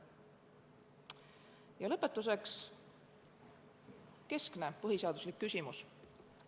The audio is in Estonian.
Ja lõpetuseks keskne põhiseaduslik küsimus.